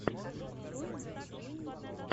открой найсгейминг ру